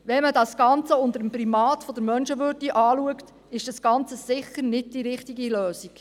Wenn man es unter dem Primat der Menschenwürde betrachtet, ist das Ganze sicher nicht die richtige Lösung.